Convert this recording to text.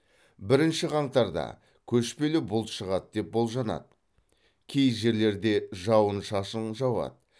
бірінші қаңтарда көшпелі бұлт шығады деп болжанады кей жерлерде жауын шашын жауады